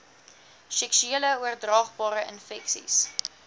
seksuele oordraagbare infeksies